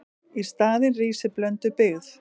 Í staðinn rísi blönduð byggð.